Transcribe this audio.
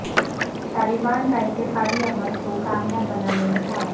طالبان کا انتخابی عمل کو کامیاب بنانے میں تعاون